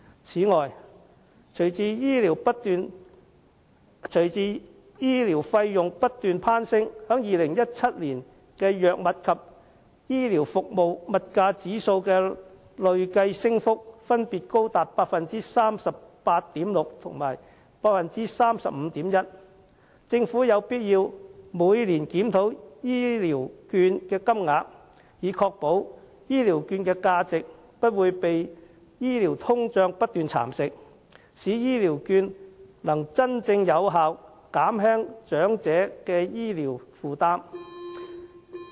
此外，隨着醫療費用不斷攀升 ，2017 年藥物及醫療服務物價指數的累計升幅分別高達 38.6% 及 35.1%， 政府有必要每年檢討醫療券的金額，以確保其價值不會被醫療通脹不斷蠶食，可以真正有效減輕長者的醫療負擔。